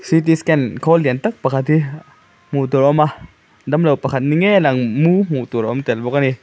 c t scan khawl lian tak pakhat hi hmuh tur a awm a dam lo pakhat ni ngei a lang mu hmuh tur a awm tel bawk ani.